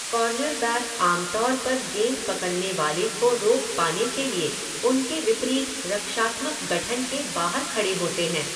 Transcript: Cornerback आम तौर पर गेंद पकड़ने वाले को रोक पाने के लिए उनके विपरीत रक्षात्मक गठन के बाहर खड़े होते हैं।